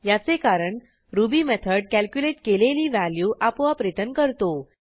याचे कारण Ruby method calculate केलेली व्हॅल्यू आपोआप रिटर्न करतो